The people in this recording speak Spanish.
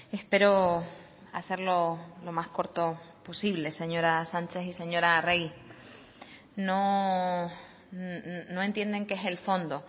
espero hacerlo lo más corto posible señora sánchez y señora arregi no entienden qué es el fondo